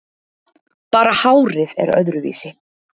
Bara hárið er öðruvísi.